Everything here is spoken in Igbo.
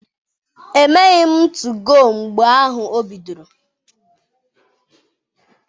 Emeghị m 2go mgbe ahụ o bidoro.